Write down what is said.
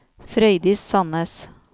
Frøydis Sannes